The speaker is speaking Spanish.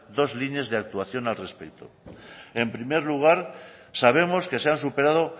dos líneas de actuación al respecto en primer lugar sabemos que se han superado